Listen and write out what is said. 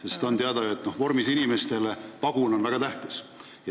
On ju teada, et vormis inimestele on pagunid väga tähtsad.